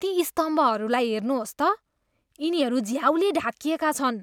ती स्तम्भहरूलाई हेर्नुहोस् त। यिनीहरू झ्याउले ढाकिएका छन्।